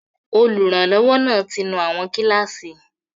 Olùrànlọ́wọ́ náà ti nú àwọn kíláàsì